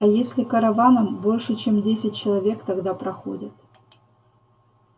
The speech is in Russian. а если караваном больше чем десять человек тогда проходят